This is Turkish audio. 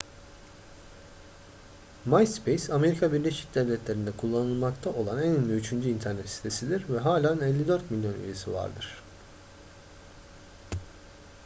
myspace amerika birleşik devletleri'nde kullanılmakta olan en ünlü üçüncü internet sitesidir ve halen 54 milyon üyesi vardır